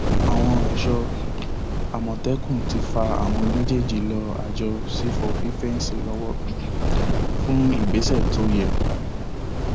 àwọn ẹṣọ um àmọtẹkùn ti fa àwọn méjèèjì lé àjọ sífọ fífẹǹsì lọwọ um fún ìgbésẹ tó yẹ